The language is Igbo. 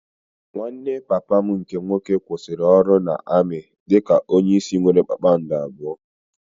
Nwanne papa m nke nwoke kwụsịrị ọrụ na-amị dị ka onye isi nwéré kpakpando abụọ